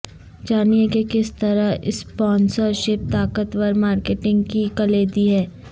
جانیں کہ کس طرح اسپانسرشپ طاقتور مارکیٹنگ کی کلیدی ہے